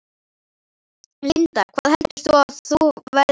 Linda: Hvað heldur þú að þú verðir lengi?